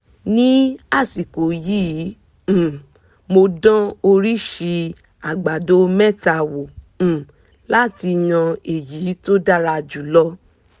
ní àsìkò yìí um mò dán oríṣi àgbàdo mẹ́ta wò um láti yan èyí tó dára jù lọ